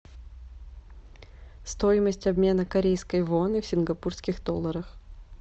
стоимость обмена корейской воны в сингапурских долларах